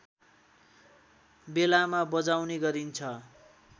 बेलामा बजाउने गरिन्छ